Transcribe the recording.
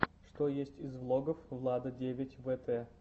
что есть из влогов влада девять вэтэ